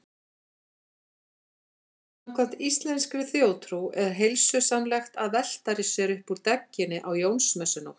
Samkvæmt íslenskri þjóðtrú er heilsusamlegt að velta sér upp úr dögginni á Jónsmessunótt.